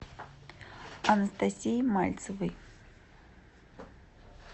анастасией мальцевой